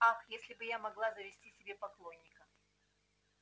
ах если бы я могла завести себе поклонника